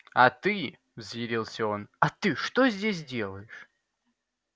а ты взъярился он а ты что здесь делаешь